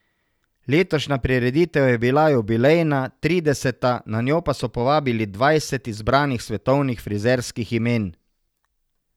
Letošnja prireditev je bila jubilejna, trideseta, na njo pa so povabili dvajset izbranih svetovnih frizerskih imen.